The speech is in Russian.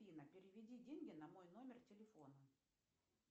афина переведи деньги на мой номер телефона